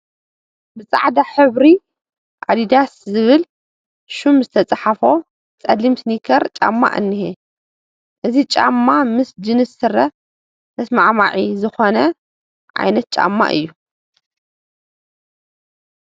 ብፃዕዳ ሕብሪ ኣዲዳስ ዝብል ሽም ዝተፃሕፎ ፀሊም ስኒከር ጫማ እኒሀ፡፡ እዚ ጫማ ምስ ጂንስ ስረ ተስማዕማዒ ዝኾነ ዓይነት ጫማ እዩ፡፡